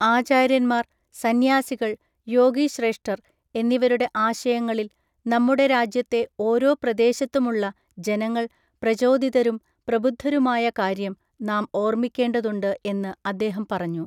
ആചാര്യന്മാർ, സന്യാസികൾ, യോഗി ശ്രേഷ്ഠർ എന്നിവരുടെ ആശയങ്ങളിൽ നമ്മുടെ രാജ്യത്തെ ഓരോ പ്രദേശത്തുമുള്ള ജനങ്ങൾ പ്രചോദിതരും പ്രബുദ്ധരുമായ കാര്യം നാം ഓർമിക്കേണ്ടതുണ്ട് എന്ന് അദ്ദേഹം പറഞ്ഞു.